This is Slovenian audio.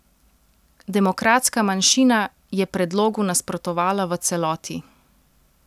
Demokratska manjšina je predlogu nasprotovala v celoti.